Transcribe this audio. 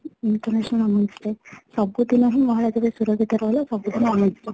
International Women's Day ସବୁ ଦିନ ହିଁ ମହିଳା ମାନେ ସୁରକ୍ଷିତ ରହିଲେ ସବୁ ଦିନ women's day